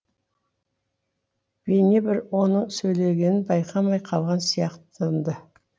бейне бір оның сөйлегенін байқамай қалған сияқтанды